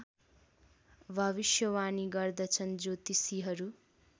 भविष्यवाणी गर्दछन् ज्योतिषीहरू